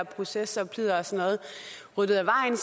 proces ryddet af vejen